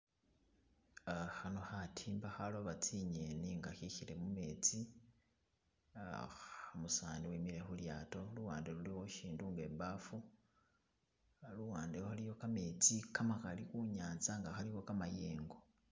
Uh khano khatimba akhaloba tsi'ngeni nga khekhile mumetsi uh umusani wemile khulyato luwande luliwo shishindu nga ibaafu , aluwande aliyo kametsi kamakali khunyanza nga kalikho kamayengo.